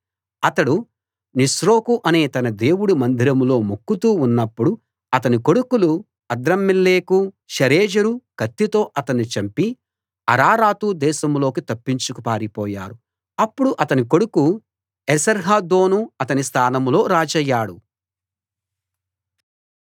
అతడు నిస్రోకు అనే తన దేవుడు మందిరంలో మొక్కుతూ ఉన్నప్పుడు అతని కొడుకులు అద్రమ్మెలెకు షరెజెరు కత్తితో అతన్ని చంపి అరారాతు దేశంలోకి తప్పించుకు పారిపోయారు అప్పుడు అతని కొడుకు ఏసర్హద్దోను అతని స్థానంలో రాజయ్యాడు